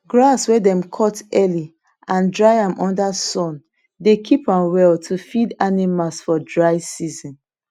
grass wey dem cut early and dry am under sun dey keep am well to feed animals for dry season